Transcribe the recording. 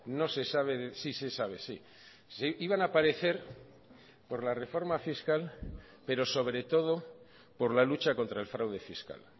no se sabe sí se sabe sí iban a aparecer por la reforma fiscal pero sobre todo por la lucha contra el fraude fiscal